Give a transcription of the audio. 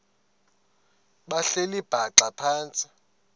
behleli bhaxa phantsi